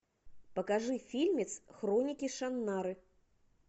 покажи фильмец хроники шаннары